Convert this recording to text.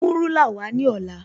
Mú rúlà wá ní ọ̀la